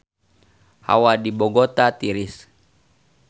Hawa di Bogota tiris